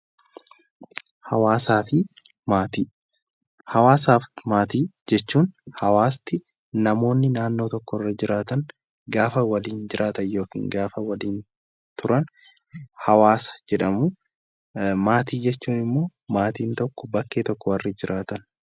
Hawaasaa fi maatii, hawaasaa fi maatii jechuun hawaasni namootni naannoo tokko irra jiraatan gaafa waliin jiraatan yookaan gaafa waliin turan hawaasa jedhamu. Maatii jechuun immoo maatiin tokko bakkee tokko warri jiraatan.